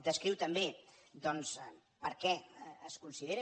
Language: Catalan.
descriu també doncs per què es considera